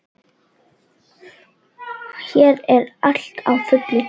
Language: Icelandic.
Hér er allt á fullu.